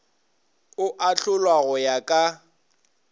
o ahlolwa go ya ka